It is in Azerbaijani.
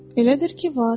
Elədir ki, var.